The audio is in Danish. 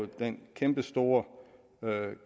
den kæmpestore